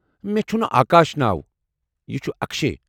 مےٚ چُھنہٕ آکاش ناو ، یہِ چُھ اكشے۔